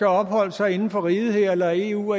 opholdt sig inden for riget her eller i et eu